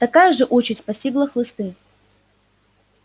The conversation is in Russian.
такая же участь постигла хлысты